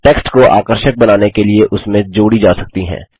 text को आकर्षक बनाने के लिए उसमें जोड़ी जा सकती हैं